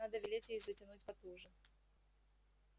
надо велеть ей затянуть потуже